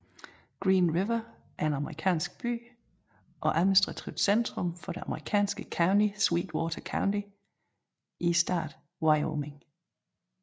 Green River er en amerikansk by og administrativt centrum for det amerikanske county Sweetwater County i staten Wyoming